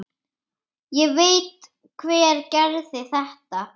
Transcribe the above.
Ég veit hver gerði þetta.